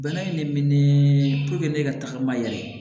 Bana in ne menen ne ka tagama yɛrɛ